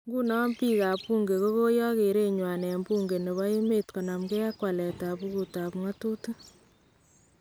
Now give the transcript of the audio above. Nkunoo , biik ab buunke kokayook kereen nywan en buunke nebo emeet konamkee ak waleet ab bukut ab ng'atutik